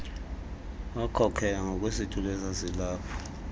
wakhokela ngakwisitulo esasilapho